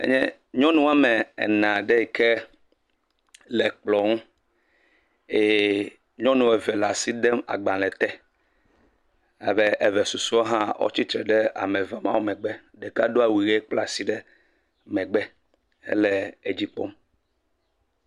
Enye nyɔnu wɔme ene aɖe yi ke le kplɔ ŋu eye nyɔnu eve le asi dem agbale te abe eve susɔewo hã wotsitre ɖe ame eve mawo megbe. ɖeka do awu ʋi kpla asi ɖe megbe hele edzi kpɔm.